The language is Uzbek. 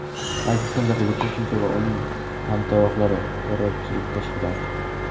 Aleksandr Lukashenko va uning hamtovoqlari – terrorchilik tashkiloti.